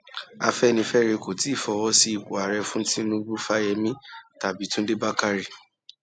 afẹnifẹre kò tí ì fọwọ sí ipò ààrẹ fún tìǹbù fáyẹmì tàbí túndé bákárẹ